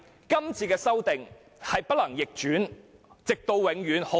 今次的修訂很大機會無法逆轉，直到永遠。